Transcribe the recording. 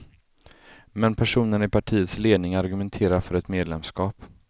Men personerna i partiets ledning argumenterar för ett medlemskap.